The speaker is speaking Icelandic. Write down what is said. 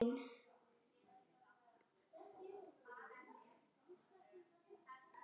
Elsku ástin mín.